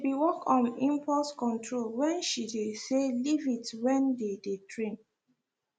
she been work om impulse control when she dey say leave it when they dey train